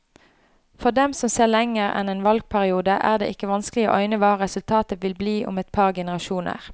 For dem som ser lenger enn en valgperiode, er det ikke vanskelig å øyne hva resultatet vil bli om et par generasjoner.